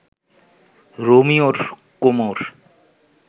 রোমিওর কোমর